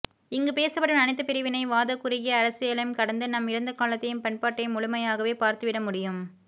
இங்கு பேசப்படும் அனைத்து பிரிவினை வாத குறுகிய அரசியலையும் கடந்து நம் இறந்தகாலத்தையும் பண்பாட்டையும் முழுமையாகவே பார்த்துவிடமுடியும்